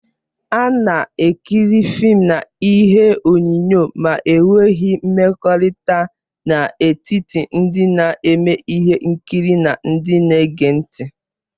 A na-ekiri fịịm na ihe onyonyo ma e nweghị mmekọrịta n'etiti ndị na-eme ihe nkiri na ndị na-ege ntị.